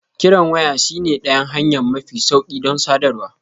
Kiran waya shine ɗayan hanya mafi sauƙi don sadarwa.